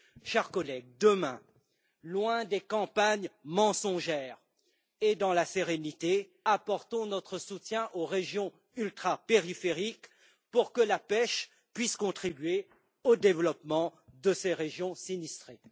Chers collègues, demain, loin des campagnes mensongères et dans la sérénité, apportons notre soutien aux régions ultrapériphériques pour que la pêche puisse contribuer au développement de ces régions sinistrées.